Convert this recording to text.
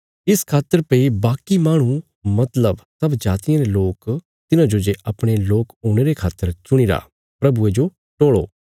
इस खातर भई बाकी माहणु मतलब सब जातियां रे लोक तिन्हांजो जे अपणे लोक हुणे रे खातर चुणीरा प्रभुये जो टोल़ो